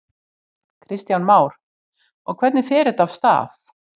Kristján Már: Og hvernig fer þetta af stað?